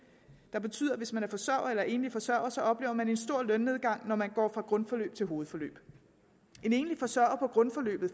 det betyder at hvis man er forsørger eller enlig forsørger oplever man en stor lønnedgang når man går fra grundforløb til hovedforløb en enlig forsørger på grundforløbet